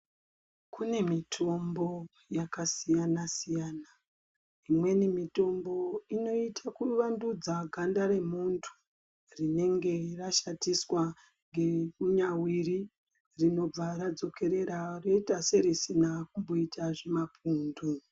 Kume mitombo yakasiyana siyana imweni mitombo inoita kuvandudza ganda remunthu rinenge rashatiswa ngemunyawiri rinobva radzokera rinoita serisina kumboita zvimapundu.